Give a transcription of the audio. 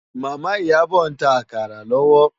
Mama Iyabo n tá àkárá lòwò